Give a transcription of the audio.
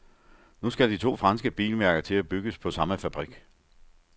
Nu skal de to franske bilmærker til at bygges på samme fabrik.